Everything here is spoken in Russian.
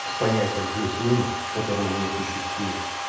с понятием плюс минус которого не существует